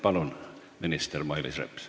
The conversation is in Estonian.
Palun, minister Mailis Reps!